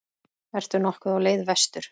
Ertu nokkuð á leið vestur?